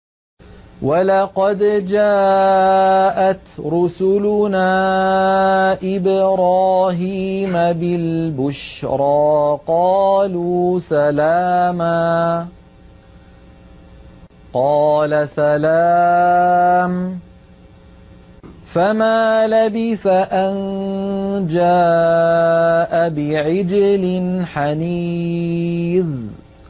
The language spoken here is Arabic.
وَلَقَدْ جَاءَتْ رُسُلُنَا إِبْرَاهِيمَ بِالْبُشْرَىٰ قَالُوا سَلَامًا ۖ قَالَ سَلَامٌ ۖ فَمَا لَبِثَ أَن جَاءَ بِعِجْلٍ حَنِيذٍ